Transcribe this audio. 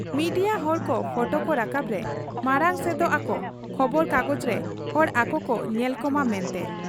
Media ᱦᱚᱲᱠᱚ ᱯᱷᱚᱴᱚᱠᱚ ᱨᱟᱠᱟᱵᱽ ᱨᱮ ᱢᱟᱬᱟᱝ ᱥᱮᱫᱚᱜ ᱟᱠᱚ ᱠᱷᱚᱵᱚᱨ ᱠᱟᱜᱚᱡᱽᱨᱮ ᱦᱚᱲ ᱟᱠᱚᱠᱚ ᱧᱮᱞᱠᱚᱢᱟ ᱢᱮᱱᱛᱮ ᱾